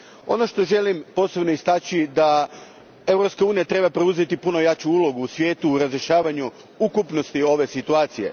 Ono što želim posebno istaknuti je da Europska unija treba preuzeti puno jaču ulogu u svijetu u razrješavanju ukupnosti ove situacije.